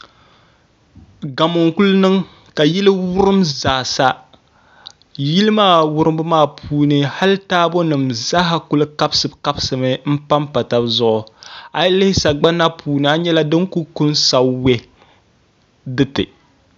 Gamo n kuli niŋ ka yili wurim zaasa yili maa yili maa wurimbu maa puuni hali taabo nim zaaha ku kabisi kabisi mi n pa tabi zuɣu a yi lihi sagbana puuni a ni nyɛ din ku ku n sabigi diti